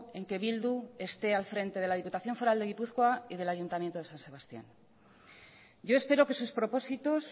en que bildu esté al frente de la diputación foral de gipuzkoa y del ayuntamiento de san sebastián yo espero que sus propósitos